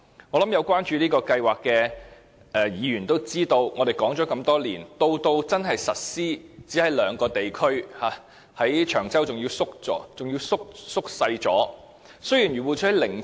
我相信有關注這項計劃的議員都知道，雖然我們已討論多年，但真正實施的地區卻只有兩個，而長洲的範圍更縮減了。